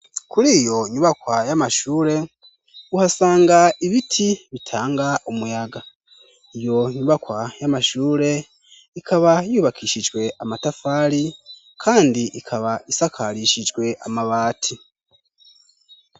Kuri iyo nyubakwa y'amashure uhasanga ibiti bitanga umuyaga, iyo nyubakwa y'amashure ikaba yubakishijwe amatafari kandi ikaba isakarishijwe amabati.